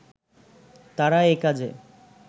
তারা একাজে